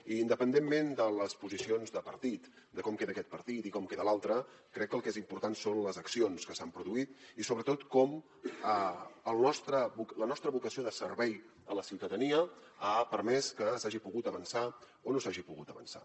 i independentment de les posicions de partit de com queda aquest partit i com queda l’altre crec que el que és important són les accions que s’han produït i sobretot com la nostra vocació de servei a la ciutadania ha permès que s’hagi pogut avançar o no s’hagi pogut avançar